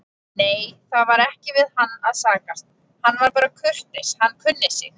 Nei, það var ekki við hann að sakast, hann var bara kurteis, hann kunni sig.